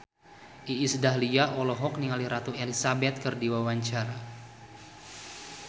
Iis Dahlia olohok ningali Ratu Elizabeth keur diwawancara